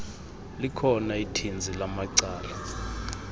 likhona ithinzi lamacala